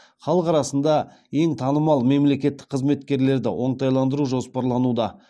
халық арасында ең танымал мемлекеттік қызметкерлерді оңтайландыру жоспарлануда